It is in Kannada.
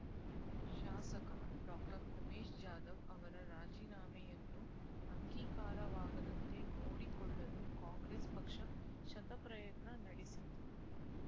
ಶಾಸಕ ಡಾಕ್ಟರ್ ಉಮೇಶ್ ಜಾಧವ್ ಅವರ ರಾಜೀನಾಮೆಯನ್ನು ಅಂಗೀಕಾರವಾಗದಂತೆ ನೋಡಿಕೊಳ್ಳಲು ಕಾಂಗ್ರೆಸ್ ಪಕ್ಷ ಶತ ಪ್ರಯತ್ನ ನಡೆಸಿದ್ದು